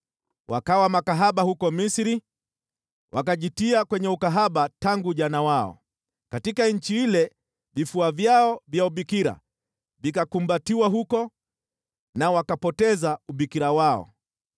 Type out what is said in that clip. Wakawa makahaba huko Misri, wakajitia kwenye ukahaba tangu ujana wao. Katika nchi ile vifua vyao vya ubikira vikakumbatiwa huko na wakapoteza ubikira wao.